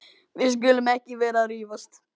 Við skulum ekki vera að rífast.